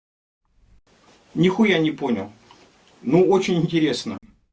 нихуя не понял но очень интересно